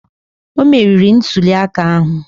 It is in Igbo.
O meriri ntuli aka ahụ